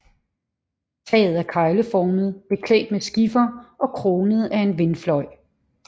Taget er kegleformet beklædt med skifer og kronet af en vindfløj